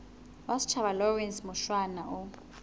wa setjhaba lawrence mushwana o